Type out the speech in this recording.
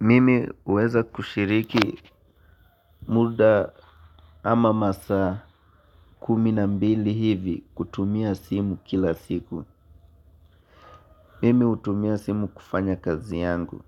Mimi uweza kushiriki muda ama masaa kuminambili hivi kutumia simu kila siku. Mimi utumia simu kufanya kazi yangu.